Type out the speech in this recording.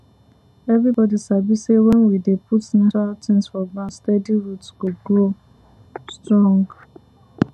everybody sabi say when you dey put natural things for ground steady root go grow strong